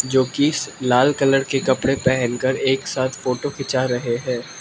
जो की स् लाल कलर के कपड़े पहनकर एक साथ फोटो खींच रहे हैं।